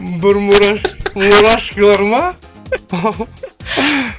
бір мурашкилар ма